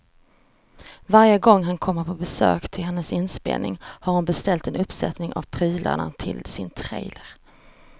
Varje gång han kommer på besök till hennes inspelning har hon beställt en uppsättning av prylarna till sin trailer.